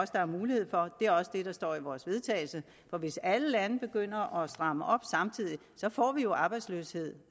der er mulighed for og det er også det der står i vores vedtagelse for hvis alle lande begynder at stramme op samtidig får vi jo arbejdsløshed